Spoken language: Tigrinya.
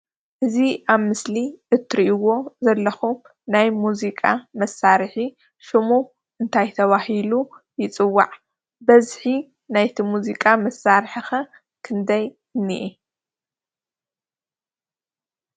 እዚ ኣብ ምስሊ እትርእዎ ዘለኩም ናይ መዚቃ መሳርሒ ሽሙ እንታይ ተበሂሉ ይፅዋዕ? በዝሒ ናይቲ መዚቃ መሳርሒ ከ ክንደይ እንሄ?